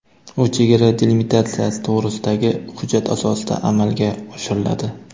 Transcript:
U chegara delimitatsiyasi to‘g‘risidagi hujjat asosida amalga oshiriladi.